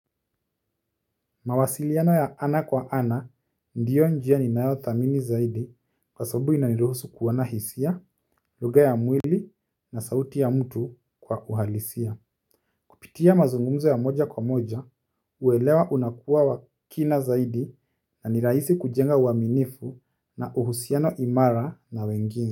Mawasiliano ya ana kwa ana ndio njia inayo dhamini zaidi kwa sababu inaniruhusu kuona hisia, lugha ya mwili na sauti ya mtu kwa uhalisia. Kupitia mazungumzo ya moja kwa moja, uelewa unakuwa wa kina zaidi na ni rahisi kujenga uaminifu na uhusiano imara na wengine.